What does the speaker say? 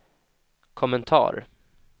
kommentar